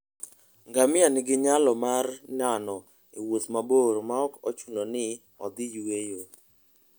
Ngamia nigi nyalo mar nano e wuoth mabor maok ochuno ni odhi yueyo.